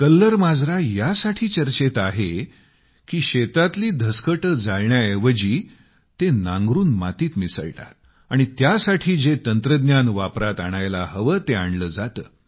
कल्लर माजरा यासाठी चर्चेत आहे की धान्याची पराली जाळण्याऐवजी ते नांगरून मातीत मिसळतात आणि त्यासाठी जे तंत्रज्ञान जे वापरात आणायला हवे ते आणले जाते